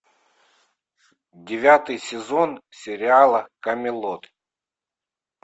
девятый сезон сериала камелот